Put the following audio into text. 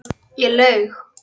Ég laug.